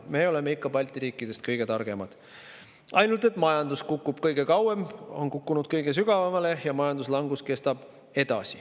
Me oleme Balti riikidest ikka kõige targemad, ainult et majandus on kukkunud meil kõige kauem, on kukkunud kõige sügavamale ja majanduslangus kestab edasi.